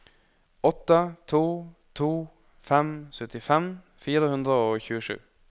åtte to to fem syttifem fire hundre og tjuesju